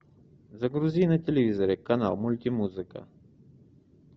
загрузи на телевизоре канал мультимузыка